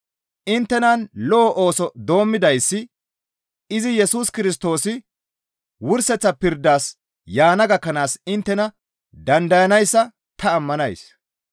Inttenan lo7o ooso doommidayssi izi Yesus Kirstoosi wurseththa pirdas yaana gakkanaas inttena dandayssanayssa ta ammanays.